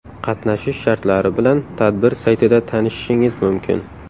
Qatnashish shartlari bilan tadbir saytida tanishishingiz mumkin.